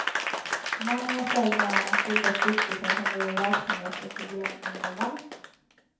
Mannen var själv med om att bilda stiftelsen som driver verksamhet för problemungdomar.